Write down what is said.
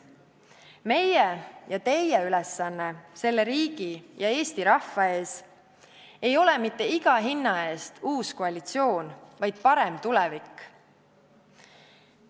Meie ja teie ülesanne selle riigi ja Eesti rahva ees ei ole mitte iga hinna eest uus koalitsioon, vaid parem tulevik.